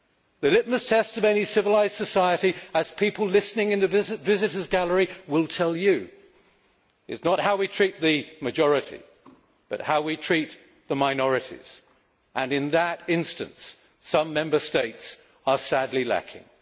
The litmus test of any civilised society, as people listening in the visitors' gallery will tell you, is not how we treat the majority, but how we treat the minorities, and, in that instance, some Member States are sadly lacking.